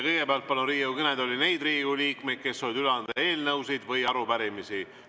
Kõigepealt palun Riigikogu kõnetooli neid Riigikogu liikmeid, kes soovivad üle anda eelnõusid või arupärimisi.